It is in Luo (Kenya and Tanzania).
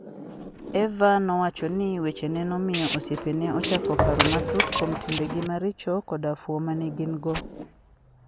Eva nowacho ni wechene nomiyo osiepene ochako paro matut kuom timbegi maricho koda fuwo ma ne gin - go.